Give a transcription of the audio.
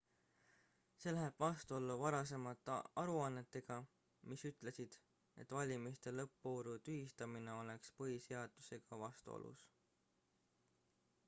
see läheb vastuollu varasemate aruannetega mis ütlesid et valimiste lõppvooru tühistamine oleks põhiseadusega vastuolus